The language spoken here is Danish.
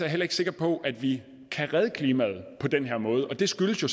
heller ikke sikker på at vi kan redde klimaet på den her måde og det skyldes jo